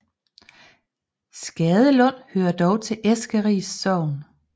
Skadelund hører dog til Eskeris Sogn